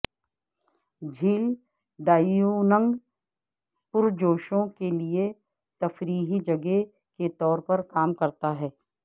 جھیل ڈائیونگ پرجوشوں کے لئے تفریحی جگہ کے طور پر کام کرتا ہے